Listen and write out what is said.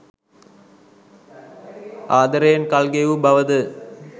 ආදරයෙන් කල් ගෙවූ බව ද